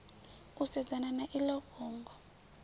u sedzana na iḽo fhungo